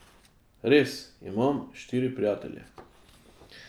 Res, imam štiri prijatelje.